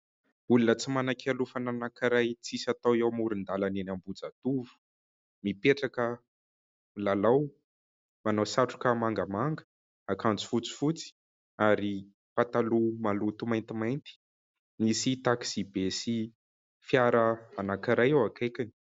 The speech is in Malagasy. Olona tsy manan-kialofana anankiray tsisy atao ao amoron-dalana eny Ambohijatovo. Mipetraka milalao, manao satroka mangamanga, akanjo fotsifotsy ary pataloha maloto maintimainty ; nisy takisy be sy fiara anankiray ao akaikiny.